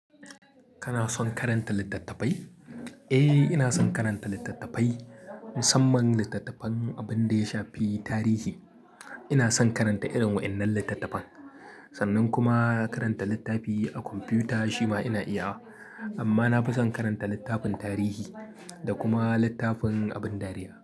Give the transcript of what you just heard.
Kana son karanta littattafai? Eh, ina son karanta littattafai, musamman littattafan abin da ya shafi tarihi. Ina son karanta irin waɗannan littattafan. Sannan kuma karanta littafi a kwamfuta shima ina iyawa. Amma na fi son karanta littafin tarihi da kuma littafin abin dariya.